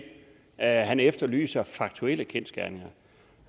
han efterlyser faktuelle kendsgerninger